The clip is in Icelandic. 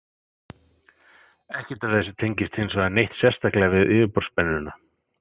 Ekkert af þessu tengist hins vegar neitt sérstaklega við yfirborðsspennuna.